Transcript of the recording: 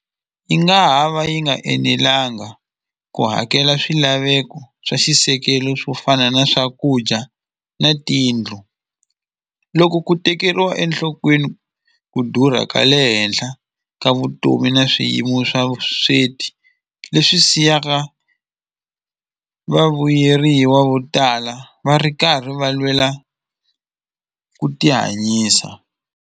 Yi nga ha va yi nga enelanga ku hakela swilaveko swa xisekelo swo fana na swakudya na tiyindlu loko ku tekeriwa enhlokweni ku durha ka le henhla ka vutomi na swiyimo swa vusweti leswi siyaka vavuyeriwa vo tala va ri karhi va lwela ku ti hanyisa.